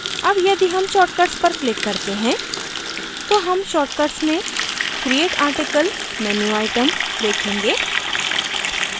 अब यदि हम shortcuts पर click करते हैं तो हम shortcuts में create article menu item देखेंगे